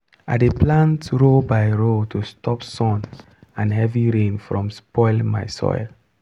i dey plant row by row to stop sun and heavy rain from spoil my soil.